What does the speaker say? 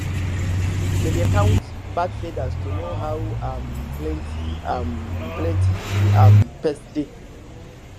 dem dey count bird feathers to know how um plenty um plenty um pests dey